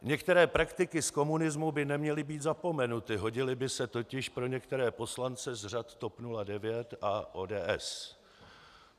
Některé praktiky z komunismu by neměly být zapomenuty, hodily by se totiž pro některé poslance z řad TOP 09 a ODS.